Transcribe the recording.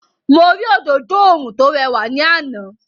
Mo rí òdodo oòrùn tó rẹwà ní àná.